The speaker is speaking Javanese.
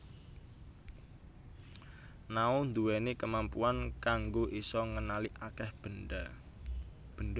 Nao ndhuwèni kemampuan kanggo isa ngenali akèh benda